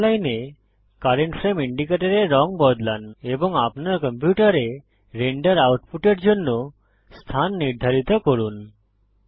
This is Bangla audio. টাইমলাইনে কারেন্ট ফ্রেম ইন্ডিকেটরের রঙ বদলান এবং আপনার কম্পিউটারে রেন্ডার আউটপুটের জন্য স্থান নির্ধারিত করুন